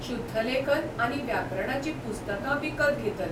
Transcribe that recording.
शुद्धलेखन आनी व्याकरणाचीं पुस्तकां विकत घेतल.